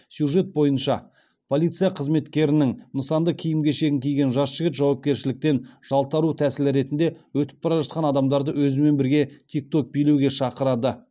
сюжет бойынша полиция қызметкерінің нысанды киім кешегін киген жас жігіт жауапкершіліктен жалтару тәсілі ретінде өтіп бара жатқан адамдарды өзімен бірге тикток билеуге шақырады